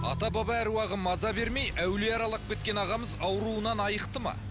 ата баба аруағы маза бермей әулие аралап кеткен ағамыз ауруынан айықты ма